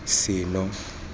seno